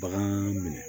Bagan minɛ